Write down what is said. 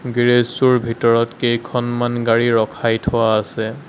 Garage টোৰ ভিতৰত কেইখনমান গাড়ী ৰখাই থোৱা আছে।